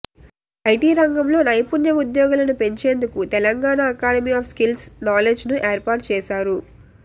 IT రంగంలో నైపుణ్య ఉద్యోగులను పెంచేందుకు తెలంగాణ అకాడమీ ఆఫ్ స్కిల్స్ నాలెడ్జ్ను ఏర్పాటు చేశారు